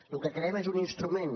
el que creem és un instrument